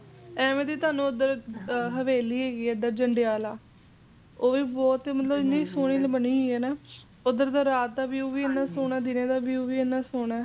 ਐਵੇਂ ਤਾਂ ਤੁਹਾਨੂੰ ਓਦਰ ਹਵੇਲੀ ਹੈ ਜੰਡਿਆਲਾ ਓਹ ਵੀ ਮਤਲਬ ਕਿ ਇੰਨੀ ਸੋਹਣੀ ਬਣੀ ਹੋਈ ਏ ਨਾ ਓਦਰ ਦਾ ਰਾਤ ਦਾ ਵੀ view ਇੰਨਾ ਸੋਹਣਾ ਏ ਦਿਨ ਦਾ view ਵੀ ਇੰਨਾ ਸੋਹਣਾ